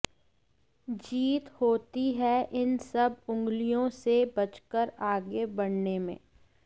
जीत होती है इन सब उंगलियों से बचकर आगे बढ़ने में